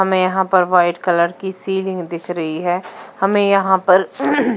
हमें यहां पर वाइट कलर की सीलिंग दिख रही है। हमें यहां पर--